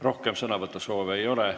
Rohkem sõnavõtusoove ei ole.